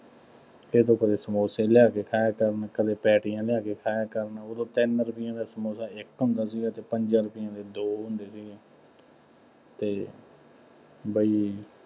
ਇਹ ਤੋਂ ਕਦੇ ਸਮੋਸੇ ਲਿਆ ਕੇ ਖਾਇਆ ਕਰਨ, ਕਦੇ ਪੈਟੀਆਂ ਲਿਆ ਕੇ ਖਾਇਆ ਕਰਨ, ਉਦੋਂ ਤਿੰਨ ਰੁਪਇਆ ਦਾ ਸਮੋਸਾ ਇੱਕ ਹੁੰਦਾ ਸੀਗਾ ਅਤੇ ਪੰਜਾਂ ਰੁਪਈਆਂ ਦੇ ਦੋ ਹੁੰਦੇ ਸੀਗੇ ਅਤੇ ਬਈ